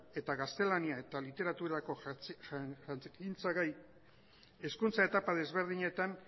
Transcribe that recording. eta gaztelania eta literaturako jakintzagai hezkuntza etapa ezberdinetan